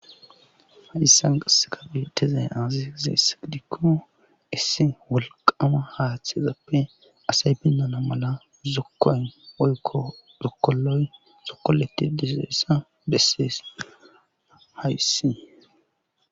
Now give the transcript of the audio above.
hayssan qasse kabi tezey aazi zeessa dikko issi walqama haaththeezappe asay binnana mala zokkoyn oykko zokoloy zokkoletti dessaessa bessees hayssi